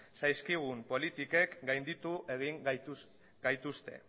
zaizkigun politikek gainditu egin gaituzte